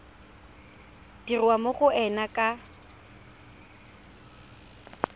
dirwa mo go ena ka